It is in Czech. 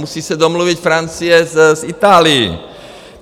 Musí se domluvit Francie s Itálií.